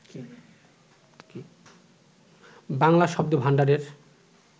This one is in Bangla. বাংলা শব্দভাণ্ডারের